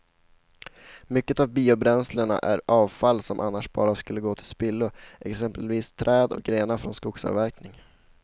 Mycket av biobränslena är avfall som annars bara skulle gå till spillo, exempelvis träd och grenar från skogsavverkningen.